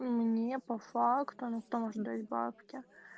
мне по факту ну кто может дать бабки